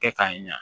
Kɛ k'a ɲa